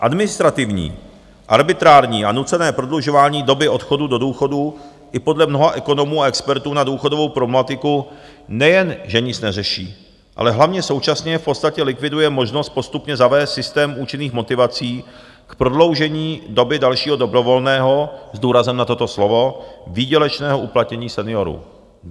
Administrativní, arbitrární a nucené prodlužování doby odchodu do důchodu i podle mnoha ekonomů a expertů na důchodovou problematiku nejen, že nic neřeší, ale hlavně současně v podstatě likviduje možnost postupně zavést systém účinných motivací k prodloužení doby dalšího dobrovolného - s důrazem na toto slovo, výdělečného uplatnění seniorů.